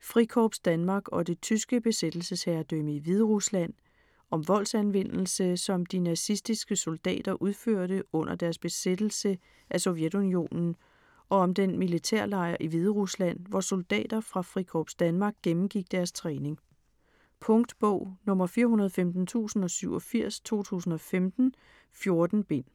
Frikorps Danmark og det tyske besættelsesherredømme i Hviderusland. Om voldsanvendelse, som de nazistiske soldater udførte under deres besættelse af Sovjetunionen og om den militærlejr i Hviderusland, hvor soldater fra Frikorps Danmark gennemgik deres træning. Punktbog 415087 2015. 14 bind.